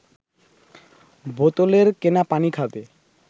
বোতলের কেনা পানি খাবে